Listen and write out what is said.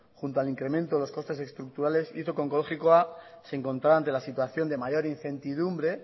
junto al incremento de los costes estructurales hizo que onkologikoa se encontrara ante la situación de mayor incertidumbre